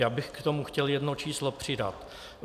Já bych k tomu chtěl jedno číslo přidat.